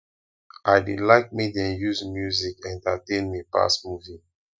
i dey like make dem use music entertain me pass movie